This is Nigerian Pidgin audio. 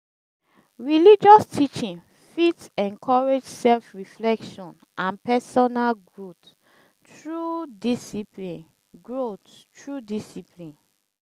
religious teaching fit encourage self reflection and personal growth through discpline growth through discpline